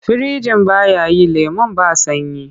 Firinjin ba ya yi lemon ba sanyi.